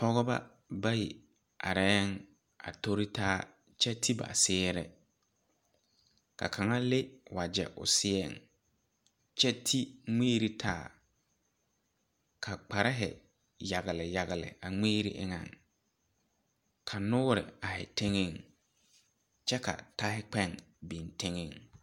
Pɔgeba bayi areɛɛŋ a toritaa kyɛ te ba sɛɛre ka kaŋa le wagyɛ o seɛŋ kyɛ te ngmiire taa ka kparehi yagle yagle a ngmiire eŋɛŋ ka noore aihi teŋɛŋ kyɛ ka tahikpɛɛŋ biŋ teŋɛŋ.